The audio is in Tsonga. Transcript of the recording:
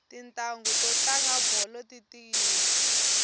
titanghu to tlanga bolo ti tiyile